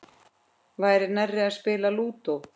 Nær væri að spila Lúdó.